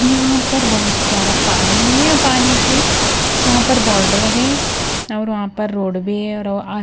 यहां पर बहोत सारा पानी है पानी के वहां पर बॉडर है और वहां पर रोड भी है।